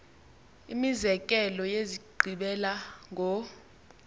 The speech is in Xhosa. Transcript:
imizekelo yezigqibela ngo